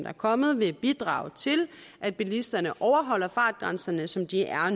er kommet vil bidrage til at bilisterne overholder fartgrænserne som de er